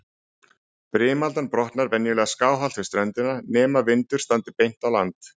Brimaldan brotnar venjulega skáhallt við ströndina, nema vindur standi beint á land.